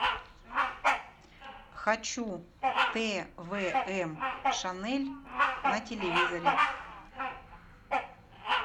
хочу твм шанель на телевизоре